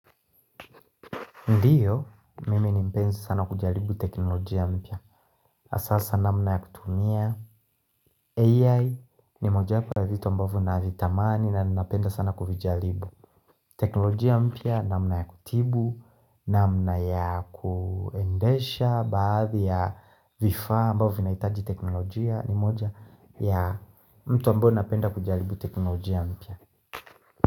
Ndiyo, mime ni mpenzi sana kujalibu teknolojia mpya. Asasa namna ya kutumia. AI ni moja kwa vitu ambavu na vitamani na napenda sana kujalibu. Teknolojia mpya namna ya kutibu, namna ya kuendesha, baadhi ya vifa ambavu vinaitaji teknolojia ni moja ya mtu ambavu napenda kujalibu teknolojia mpya.